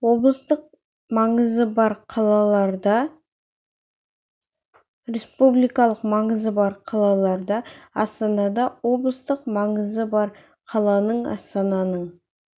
облыстық маңызы бар қалаларда республикалық маңызы бар қалаларда астанада облыстың республикалық маңызы бар қаланың астананың